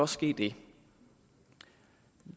ske det